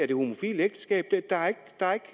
det homofile ægteskab